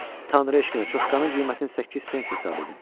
Tanrı eşqinə çuşkanın qiymətini 8 pens hesab edin.